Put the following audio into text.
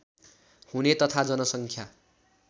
हुने तथा जनसङ्ख्या